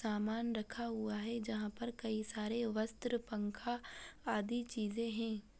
सामान रखा हुआ है जहाँ पर कई सारे वस्त्र पंखा आदि चीजें हैं।